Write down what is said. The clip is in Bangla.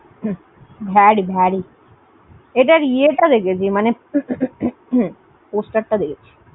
Very very এটার ইয়েটা দেখেছি মানে poster টা দেখেছি।